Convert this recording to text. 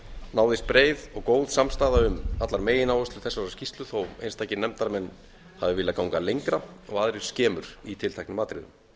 náðist breið og góð samstaða um allar megináherslur þessarar skýrslu þó að einstakir nefndarmenn hafi viljað ganga lengra og aðrir skemur í tilteknum atriðum